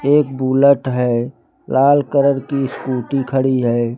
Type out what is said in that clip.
एक बुलेट है लाल कलर की स्कूटी खड़ी है।